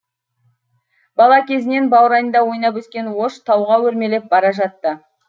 бала кезінен баурайында ойнап өскен ош тауға өрмелеп бара жатты